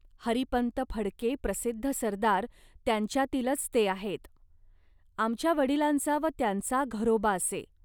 हरिपंत फडके प्रसिद्ध सरदार त्यांच्यांतीलच ते आहेत. आमच्या वडिलांचा व त्यांचा घरोबा असे